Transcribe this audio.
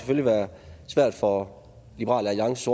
vil være svært for liberal alliances